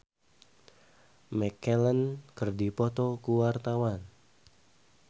Indah Kalalo jeung Ian McKellen keur dipoto ku wartawan